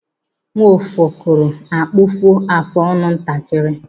Nwokefọrọ na-akpụfọ afụ ọnụ ntakịrị.